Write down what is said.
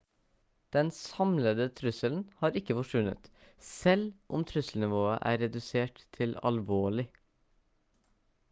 den samlede trusselen har ikke forsvunnet selv om trusselnivået er redusert til alvorlig»